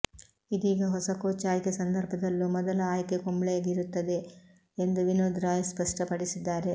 ಇದೀಗ ಹೊಸ ಕೋಚ್ ಆಯ್ಕೆ ಸಂದರ್ಭದಲ್ಲೂ ಮೊದಲ ಆಯ್ಕೆ ಕುಂಬ್ಳೆಗಿರುತ್ತದೆ ಎಂದು ವಿನೋದ್ ರಾಯ್ ಸ್ಪಷ್ಟಪಡಿಸಿದ್ದಾರೆ